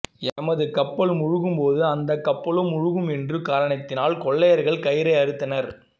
எமது கப்பல் மூழ்கும் போது அந்த கப்பலும் மூழ்கும் என்ற காரணத்தினால் கொள்ளையர்கள் கயிறை அறுத்தனர்